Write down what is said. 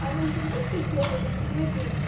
а нужно несколько образов или один